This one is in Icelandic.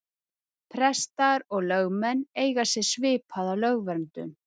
Prestar og lögmenn eiga sér svipaða lögverndun.